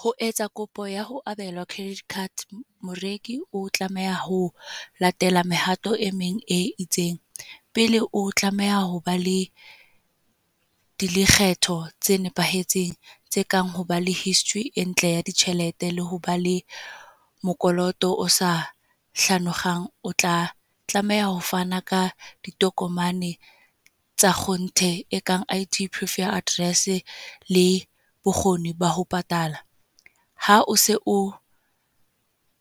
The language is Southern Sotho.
Ho etsa kopo ya ho credit card. Moreki o tlameha ho latela mehato e meng e itseng. Pele o tlameha hoba le dilekgetho tse nepahetseng. Tse kang ho ba le history e ntle ya ditjhelete, le ho ba le mokoloto o sa hlanokgang. O tla tlameha ho fana ka ditokomane tsa gonthe e kang I_D, Proof ya address, le bokgoni ba ho patala. Ha o se o